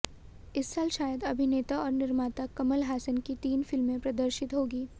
इस साल शायद अभिनेता और निर्माता कमल हासन की तीन फिल्में प्रदर्शित होंगी